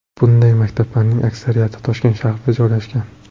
Bunday maktablarning aksariyati Toshkent shahrida joylashgan.